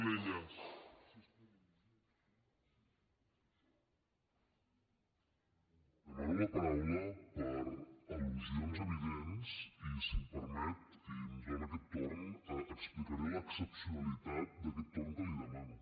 demano la paraula per al·lusions evidents i si m’ho permet i em dona aquest torn explicaré l’excepcionalitat d’aquest torn que li demano